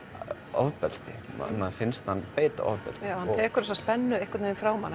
ofbeldi manni finnst hann beita ofbeldi hann tekur þessa spennu frá manni